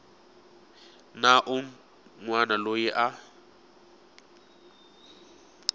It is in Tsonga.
na un wana loyi a